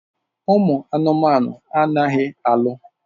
Ụmụ anụmanụ anaghị alụ.